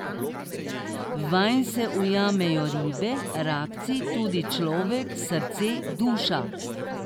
Vanj se ujamejo ribe, rakci, tudi človek, srce, duša.